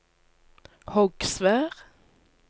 Hogsvær